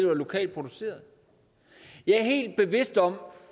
var lokalt produceret jeg er helt bevidst om